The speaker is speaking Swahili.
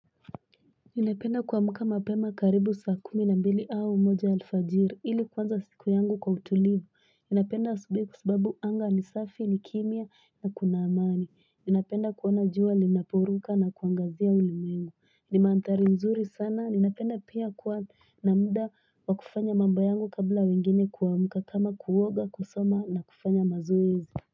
Ninapenda kuamka mapema karibu saa kumi na mbili au moja alfajiri ili kuanza siku yangu kwa utulivu Ninapenda asubuhi kwa sababu anga ni safi ni kimya na kuna amani Ninapenda kuona jua linaporuka na kuangazia ulimwengu ni mandhari nzuri sana ninapenda pia kuwa na muda wa kufanya mambo yangu kabla wengine kuamka kama kuoga kusoma na kufanya mazoezi.